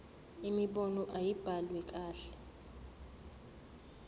imibono ayibhaliwe kahle